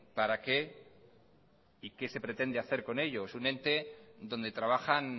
para qué y qué se pretende hacer con ello es un ente donde trabajan